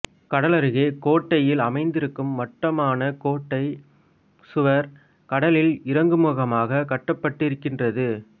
கடலருகே கோட்டையில் அமைந்திருக்கும் வட்டமான கோட்டைச் சுவர் கடலில் இறங்குமுகமாக கட்டப்பட்டிருக்கின்றது